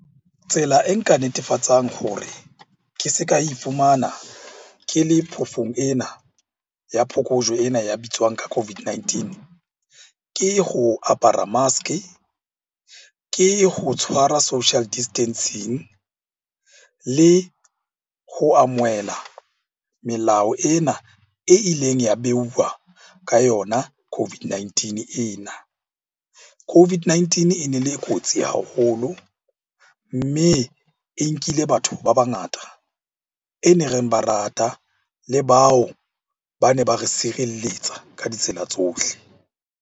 Tsela e nka netefatsang hore ke se ka ifumana ke le phoofong ena ya phokojwe ena ya bitswang ka COVID-19. Ke ho apara mask-e, ke ho tshwara social distancing le ho amohela melao ena e ileng ya behuwa ka yona COVID-19 ena. COVID-19 e ne le kotsi haholo, mme e nkile batho ba bangata e neng reng ba rata le bao ba ne ba re sirelletsa ka ditsela tsohle.